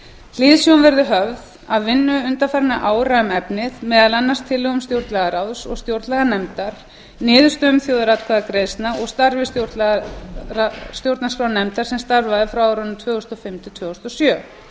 hliðsjón verður höfð af vinnu undanfarinna ára um efnið meðal annars tillögum stjórnlagaráðs og stjórnlaganefndar niðurstöðum þjóðaratkvæðagreiðslu og starfi stjórnarskrárnefndar sem starfaði tvö þúsund og fimm til tvö þúsund og sjö